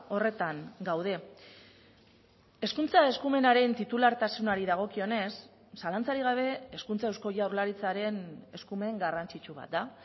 horretan gaude hezkuntza eskumenaren titulartasunari dagokionez zalantzarik gabe hezkuntza eusko jaurlaritzaren eskumen garrantzitsu bat da